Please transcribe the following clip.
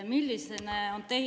Milline on teie …